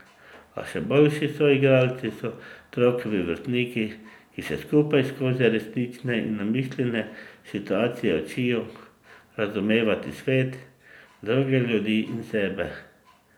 A še boljši soigralci so otrokovi vrstniki, ki se skupaj skozi resnične in namišljene situacije učijo razumevati svet, druge ljudi in sebe.